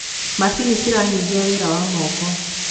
macinĩ ciranyihia wira wa moko